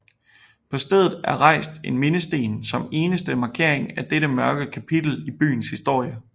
På stedet er rejst en mindesten som eneste markering af dette mørke kapitel i byens historie